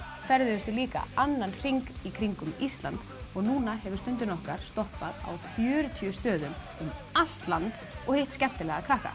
ferðuðumst við líka annan hring í kringum Ísland og núna hefur Stundin okkar stoppað á fjörutíu stöðum um allt land og hitt skemmtilega krakka